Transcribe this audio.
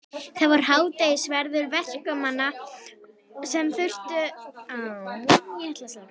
Það var hádegisverður verkamanna sem þurftu að vera að heiman langa daga.